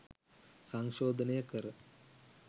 සංශෝධනය කර